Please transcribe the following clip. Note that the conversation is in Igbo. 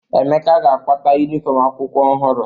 Emeka ga-akwata yunifọmụ akwụkwọ ọhụrụ.